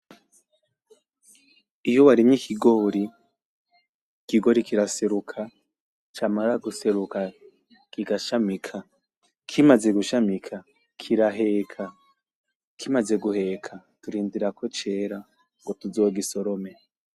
Iyo warimye ikigori ,ikigori kiraseruka camara guseruka ku gashamika kimaze gushamika kiraheka, kimaze guheka turindira yuko cera ngo tuzongisorome.